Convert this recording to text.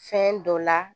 Fɛn dɔ la